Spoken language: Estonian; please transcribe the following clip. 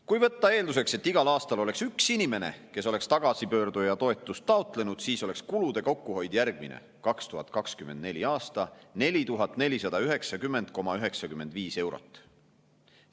Kui võtta eelduseks, et igal aastal oleks üks inimene, kes oleks tagasipöörduja toetust taotlenud, siis oleks kulude kokkuhoid järgmine: 2024. aastal 4490,95 eurot.